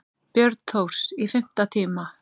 Björn Thors: Í fimm tíma?